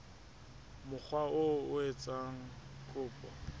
mokga oo a etsang kopo